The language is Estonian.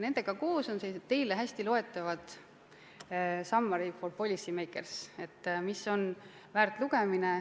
Nendega koos on avaldatud sellised teile hästi loetavad materjalid nagu "Summary for Policymakers", mis on väärt lugemine.